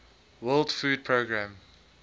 world food programme